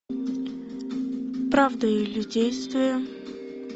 правда или действие